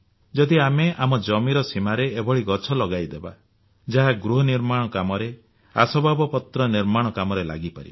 ଯଦି ଆମେ ଆମ ଜମିର ସୀମାରେ ଏଭଳି ଗଛ ଲଗାଇ ଦେବା ଯାହା ଗୃହନିର୍ମାଣ କାମରେ ଆସବାବପତ୍ର ନିର୍ମାଣ କାମରେ ଲାଗିପାରିବ